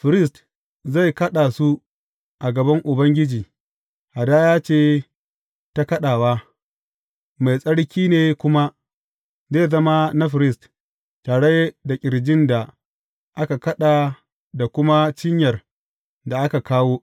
Firist zai kaɗa su a gaban Ubangiji, hadaya ce ta kaɗawa; mai tsarki ne kuma, zai zama na firist, tare da ƙirjin da aka kaɗa da kuma cinyar da aka kawo.